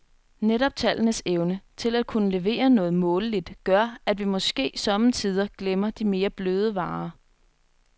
Netop tallenes evne til at kunne levere noget måleligt gør, at vi måske somme tider glemmer de mere bløde varer.